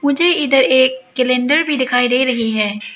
मुझे इधर एक कैलेंडर भी दिखाई दे रही है।